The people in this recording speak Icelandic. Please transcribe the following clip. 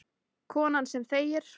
Konan sem þegir.